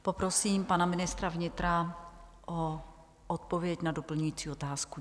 Poprosím pana ministra vnitra o odpověď na doplňující otázku.